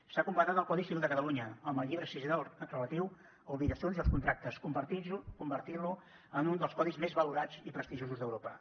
s’ha completat el codi civil de catalunya amb el llibre sisè relatiu a obligacions i els contractes i s’ha convertit en un dels codis més valorats i prestigiosos d’europa